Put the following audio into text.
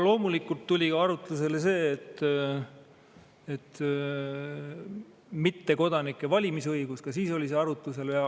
Loomulikult tuli arutlusele mittekodanike valimisõigus, ka siis oli see arutlusel.